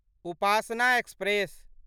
Upasana express